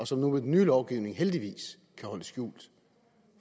som nu med den nye lovgivning heldigvis kan holdes skjult